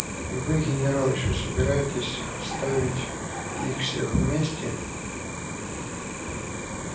и вы генерал ещё собираетесь оставить их всех вместе